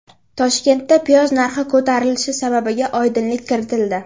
Toshkentda piyoz narxi ko‘tarilishi sababiga oydinlik kiritildi.